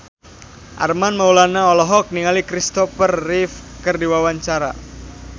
Armand Maulana olohok ningali Kristopher Reeve keur diwawancara